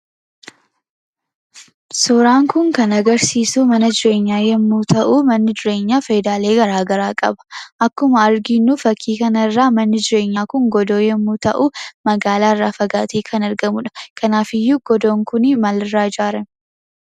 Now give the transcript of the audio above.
suuraan kun kan agarsiisuu mana jireenyaa yommuu ta'uu, manni jireenyaa fayidaalee gara garaa qaba. Akkuma arginuu fakkii kanarraa manni jireenyaa kun godoo yommuu ta'uu magaalaarraa fagaatee kan argamudha. Kanaafiyyuu godoon kun maalirraa ijaarrame?